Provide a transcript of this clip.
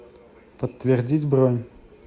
подтвердить бронь